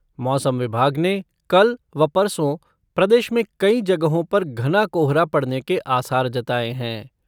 मौसम विभाग ने कल व परसों, प्रदेश में कई जगहों पर घना कोहरा पड़ने के आसार जताये हैं।